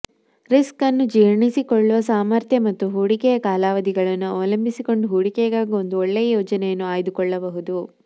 risk ಅನ್ನು ಜೀರ್ಣಿ ಸಿಕೊಳ್ಳುವ ಸಾಮರ್ಥ್ಯ ಮತ್ತು ಹೂಡಿಕೆಯ ಕಾಲಾವಧಿಗಳನ್ನು ಅವಲಂಬಿಸಿಕೊಂಡು ಹೂಡಿಕೆಗಾಗಿ ಒಂದು ಒಳ್ಳೆಯ ಯೋಜನೆಯನ್ನು ಆಯ್ದು ಕೊಳ್ಳಬಹುದು